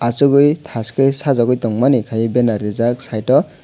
achukgwi thaskhe sajukgwi tongmani khai bannar rijak site o.